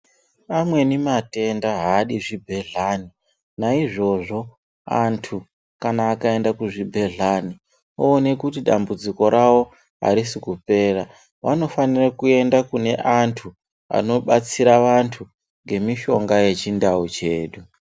Amweni matenda haadi zvibhedhleni naizvozvo antu kana akaenda kuzvibhedhlani oone kuti dambudziko ravo harisi kupera. Vanofanira kuenda kune antu anobatsira antu ngemishonga yechindau chedu.